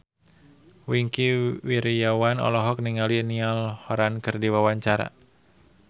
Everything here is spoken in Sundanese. Wingky Wiryawan olohok ningali Niall Horran keur diwawancara